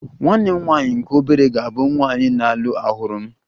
Nwanne m nwanyị nke obere ga-abụ nwanyị na-alụ ọhụrụ m